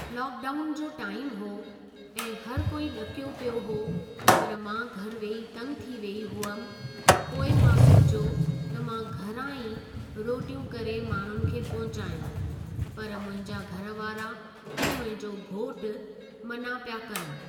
Lockdown जो time हो ऐं हर कोई ॾकियो पियो हो पर मां घरु वेही तंग थी वेई हुअमि पोइ मां सोचियो त मां घरां ई रोटियूं करे माण्हुनि खे पहुचायां पर मुंहिंजा घर वारा ऐं मुंहिंजो घोटु मना पिया कनि।